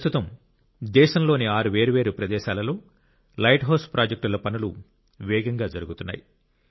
ప్రస్తుతం దేశంలోని 6 వేర్వేరు ప్రదేశాలలో లైట్ హౌస్ ప్రాజెక్టుల పనులు వేగంగా జరుగుతున్నాయి